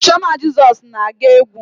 Ọ bụ chioma Jezos na-agụ egwu?